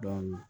Dɔɔnin